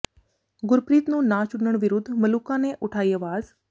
ਗੁਰਪ੍ਰੀਤ ਨੂੰ ਨਾ ਚੁਣਨ ਵਿਰੁੱਧ ਮਲੂਕਾ ਨੇ ਉਠਾਈ ਆਵਾਜ਼